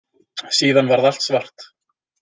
Síðan varð allt svart.